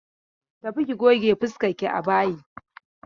Tafi ki goge fuskarki a bayi!